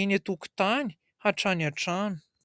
eny an-tokotany hatrany an-trano.